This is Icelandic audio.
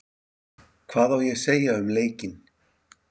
Hvað ég á að segja um leikinn?